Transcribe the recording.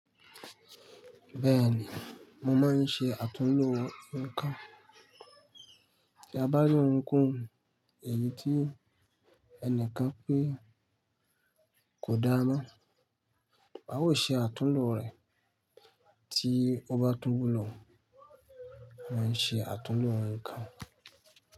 Bẹ́ẹ̀ni, mo máa ń ṣe àtúnlo nǹkan. Tí a bá ní ohunkóhun èyí tí ẹnikan pé kò dára mo, a o ṣe àtúnlo rẹ̀ tí ó bá tún wulọ̀. Mo máa ń ṣe àtúnlo nǹkan.